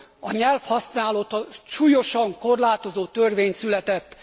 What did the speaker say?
a nyelvhasználatot súlyosan korlátozó törvény született.